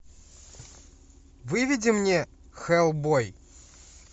выведи мне хеллбой